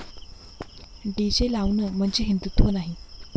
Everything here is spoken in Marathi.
डीजे लावणं म्हणजे हिंदुत्व नाही.